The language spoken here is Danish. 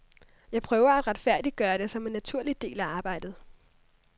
Jeg prøver at retfærdiggøre det som en naturlig del af arbejdet.